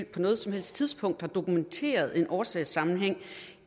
på noget som helst tidspunkt har dokumenteret en årsagssammenhæng